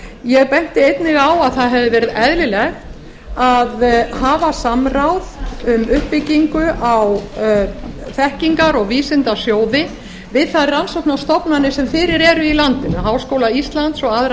ég benti einnig á að það hefði verið eðlilegt að hafa samráð um uppbyggingu á þekkingar og vísindasjóði við þær rannsóknarstofnanir sem fyrir eru í landinu háskóla íslands og aðrar